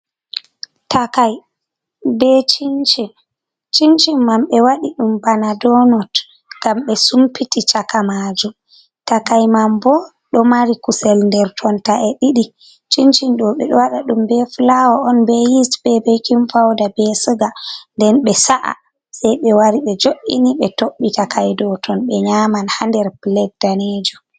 Takai be chincin mai ɓe wadi ɗum bana donot ngam ɓe sumpiti chaka majum takai man bo ɗo mari kusel nder tonta e didi cincin dobe o wada dum be flawo on be yis be bekin pauda be suga nden ɓe sa’a sei be wari ɓe jo’ini ɓe toɓɓi takai ɗo ton ɓe nyaman ha nder plet danejum.